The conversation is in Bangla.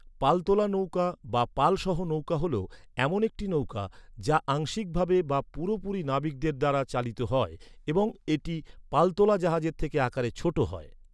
পালতোলা নৌকা বা পাল সহ নৌকা হ’ল, এমন একটি নৌকা, যা আংশিকভাবে বা পুরোপুরি নাবিকদের দ্বারা চালিত হয় এবং একটি পালতোলা জাহাজের থেকে আকারে ছোট হয়।